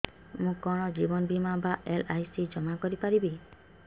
ମୁ କଣ ଜୀବନ ବୀମା ବା ଏଲ୍.ଆଇ.ସି ଜମା କରି ପାରିବି